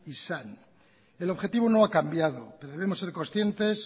izan el objetivo no ha cambiado debemos ser conscientes